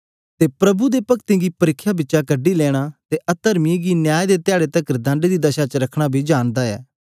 अते प्रभु भक्तों गी परिख्या बिचा कढी लेया अते अतर्मियों गी न्याय दे धयारे तकर दण्ड दी दशा च रखना बी जानदा ऐ